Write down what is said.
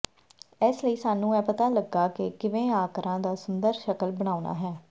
ਇਸ ਲਈ ਸਾਨੂੰ ਇਹ ਪਤਾ ਲੱਗਾ ਕਿ ਕਿਵੇਂ ਆਕਰਾਂ ਦਾ ਸੁੰਦਰ ਸ਼ਕਲ ਬਣਾਉਣਾ ਹੈ